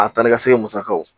A ta ni ka segin musakaw